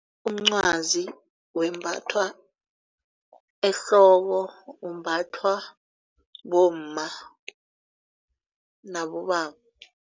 Umncwazi wembathwa ehloko umbathwa bomma nabobaba.